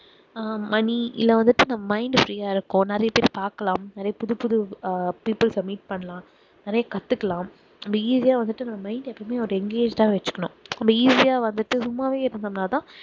ஆஹ் money இல்ல வந்துட்டு mind free ஆ இருக்கும் நிறைய பேர் பார்க்கலாம் நிறைய புது புது அஹ் people அ meet பண்ணலாம் நிறைய கத்துக்கலாம் நம்ப easy ஆ வந்துட்டு mind அ எப்பவுமே ஒரு engaged ஆ வச்சுக்கணும் ரொம்ப easy ஆ வந்துட்டு சும்மாவே இருந்தோம்னா தான்